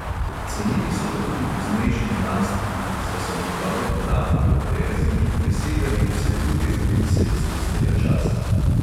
Cenili so ga tudi poznejši znanstveniki, saj so njegovi podatki o perziji presegali vse druge zapise iz tistega časa.